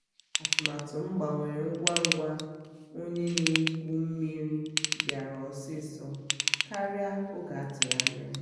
atụmatụ m gbanwere ngwa ngwa onye na-egwu mmiri bịara osiso karịa oge atụrụ anya